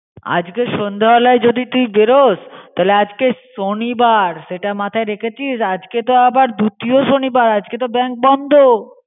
আজকে সন্ধ্যে বেলায় যদি তুই বেরোস তাহলে আজ শনিবার সেটা মাথায় রেখে চিস. আজকে তো আবার দ্বিতীয় শনিবার. আজকে তো bank বন্ধ।